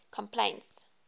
complaints